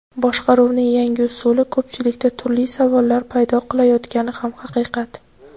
Boshqaruvning yangi usuli ko‘pchilikda turli savollar paydo qilayotgani ham haqiqat.